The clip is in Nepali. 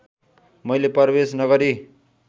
मैले प्रवेश नगरी